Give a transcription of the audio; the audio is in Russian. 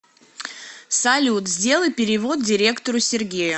салют сделай перевод директору сергею